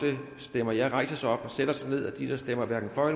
stemmer ja rejse sig op og sætte sig ned og de der stemmer hverken for